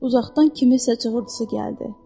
Uzaqdan kimisə cığırtısı gəldi.